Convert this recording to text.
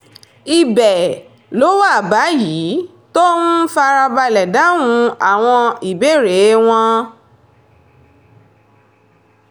ibẹ̀ ló wà báyìí tó ń fara balẹ̀ dáhùn àwọn ìbéèrè wọn